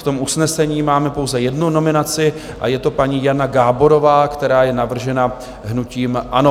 V tom usnesení máme pouze jednu nominaci a je to paní Jana Gáborová, která je navržena hnutím ANO.